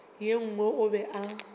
ye nngwe o be a